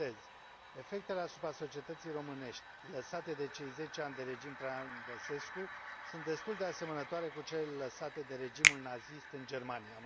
Citez Efectele asupra societății românești lăsate de cei zece ani de regim Traian Băsescu sunt destul de asemănătoare cu cele lăsate de regimul nazist în Germania.